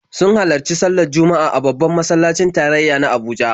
Sun halarci sallar Juma'a a babban masallacin tarayya na Abuja.